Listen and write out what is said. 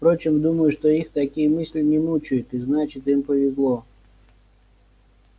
впрочем думаю что их такие мысли не мучают и значит им повезло